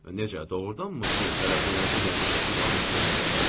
Necə, doğrudanmı siz hələ bu lənətə gəlmiş işi davam etdirmək istəyirsiz?